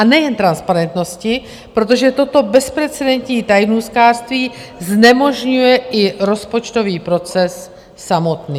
A nejen transparentnosti, protože toto bezprecedentní tajnůstkářství znemožňuje i rozpočtový proces samotný.